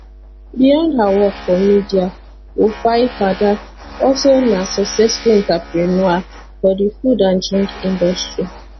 beyond her work for media wofaifada also na successful entrepreneur for di food and drink industry